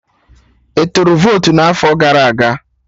Ị tụrụ votu n'afọ gara aga?